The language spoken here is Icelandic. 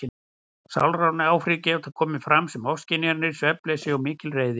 Sálræn áhrif geta komið fram sem ofskynjanir, svefnleysi og mikil reiði.